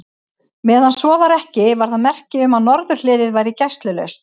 Meðan svo var ekki, var það merki um, að norðurhliðið væri gæslulaust.